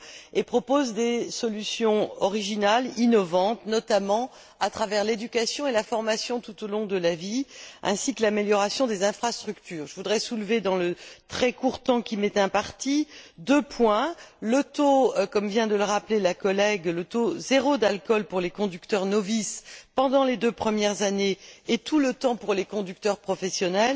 Il propose des solutions originales, innovantes, notamment à travers l'éducation et la formation tout au long de la vie, ainsi que l'amélioration des infrastructures. Je voudrais soulever deux points dans le très court laps de temps qui m'est imparti. Comme vient de le rappeler ma collègue, le taux zéro d'alcool pour les conducteurs novices pendant les deux premières années et tout le temps pour les conducteurs professionnels